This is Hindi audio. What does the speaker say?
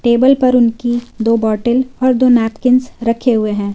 टेबल पर उनकी दो बॉटल दो नैपकिंस रखे हुए हैं।